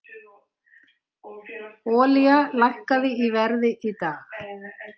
Olía lækkaði í verði í dag